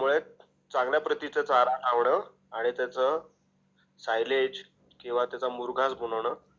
त्यामुळे चांगल्या प्रतीचा चारा आवड आणि त्याचं सायलेज किंवा त्याचा मुरघास बनवणे.